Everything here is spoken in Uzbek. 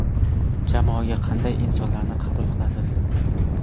Jamoaga qanday insonlarni qabul qilasiz?